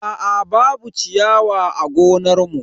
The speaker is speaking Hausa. Aa babu ciyawa a gonar mu.